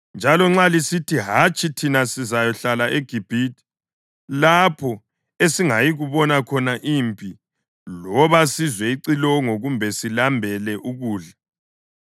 njalo nxa lisithi, ‘Hatshi, thina sizakuyahlala eGibhithe lapho esingayikubona khona impi loba sizwe icilongo kumbe silambele ukudla,